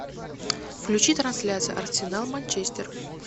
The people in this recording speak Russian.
включи трансляцию арсенал манчестер